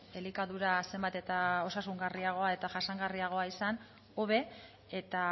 elikadura zenbat eta osasungarriagoa eta jasangarriagoa izan hobe eta